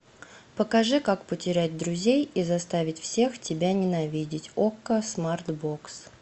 покажи как потерять друзей и заставить всех тебя ненавидеть окко смарт бокс